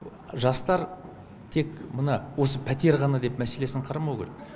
жастар тек мына осы пәтер ғана деп мәселесін қарамау керек